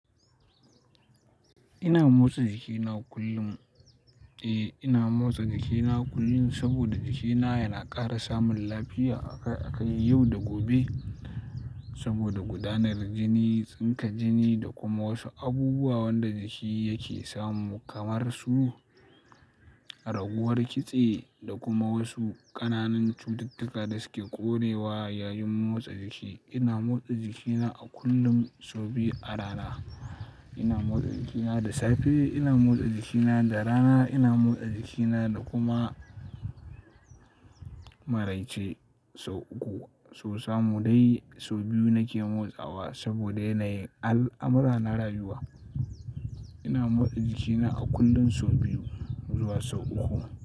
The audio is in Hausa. Ina motsa jikina kullum. Eh, ina motsa jikina kullum saboda jikina yana ƙara samun lafiya akai-akai yau da gobe. Saboda gudanar jini, tsinka jini da kuma wasu abubuwan da jiki yake samu kamar su raguwar kitse da kuma wasu ƙananan cututtuka da suke ƙorewa yayin motsa jiki. Ina motsa jikina a kullum sau biyu a rana. Ina motsa jikina da safe, ina motsa jikina da rana, ina motsa jikina da kuma maraice sau uku. So samu dai sau biyu nake motsawa saboda ina yi al'amura na rayuwa. Ina motsa jikina a kullum sau biyu zuwa sau uku.